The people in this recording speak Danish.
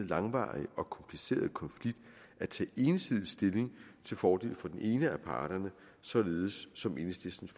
langvarige og komplicerede konflikt at tage ensidig stilling til fordel for den ene af parterne således som enhedslistens